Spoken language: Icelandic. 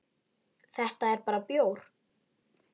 Þetta er bara bjór.